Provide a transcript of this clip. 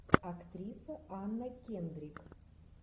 актриса анна кендрик